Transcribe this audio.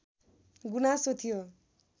गुनासो थियो